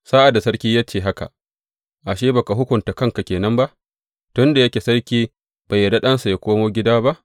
Sa’ad da sarki ya ce haka, ashe, ba ka hukunta kanka ke nan ba, tun da yake sarki bai yarda ɗansa yă komo gida ba?